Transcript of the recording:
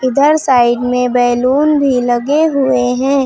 इधर साइड में बैलून भी लगे हुए हैं।